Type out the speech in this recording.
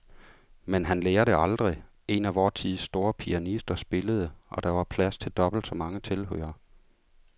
Men han lærer det aldrig. En af vor tids store pianister spillede, og der var plads til dobbelt så mange tilhørere.